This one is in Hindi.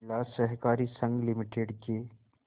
जिला सहकारी संघ लिमिटेड के